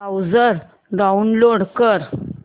browser download कर